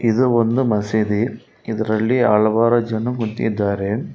ಇದು ಒಂದು ಮಸೀದಿ ಇದರಲ್ಲಿ ಹಲವಾರು ಜನ ಮೂತಿದ್ದಾರೆ.